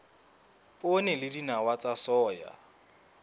poone le dinawa tsa soya